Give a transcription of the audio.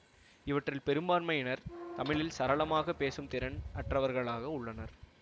இவற்றில் பெரும்பான்மையினர் தமிழில் சரளமாக பேசும் திறன் அற்றவர்களாக உள்ளனர்